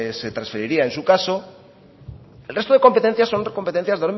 se transferiría en su caso el resto de competencias son competencias